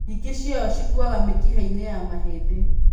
Nyingĩ ciayo cikuaga mĩkiha-inĩ ya mahĩndĩ.